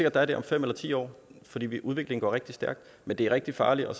at der er det om fem eller ti år fordi udviklingen går rigtig stærkt men det er rigtig farligt at